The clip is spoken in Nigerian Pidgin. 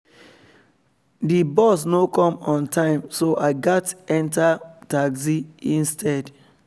the bus no come on time so i gats enter taxi instead